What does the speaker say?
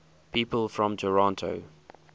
people from toronto